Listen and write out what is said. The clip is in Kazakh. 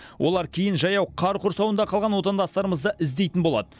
олар кейін жаяу қар құрсауында қалған отандастарымызды іздейтін болады